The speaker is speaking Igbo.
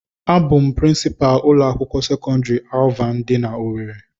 A bụ m prịnsịpalu ụlọ akwụkwọ sekọndrị Alvana dị na owerri.